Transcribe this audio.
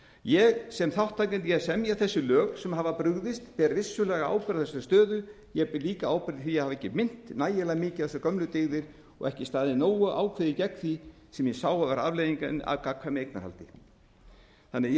ég sem þátttakandi í að semja þessi lög sem hafa brugðist ber vissulega ábyrgð á þessari stöðu ég ber líka ábyrgð á því að hafa ekki minnt nægilega mikið á þessar gömlu dyggðir og ekki staðið nógu ákveðið gegn því sem ég sá vera afleiðingar af gagnkvæmu eignarhaldi þannig að ég